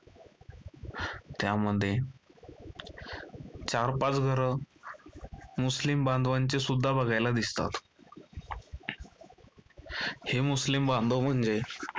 त्यामध्ये चार -पाच घरं मुस्लिम बांधवांची सुद्धा बघायला दिसतात, हे मुस्लिम बांधव म्हणजे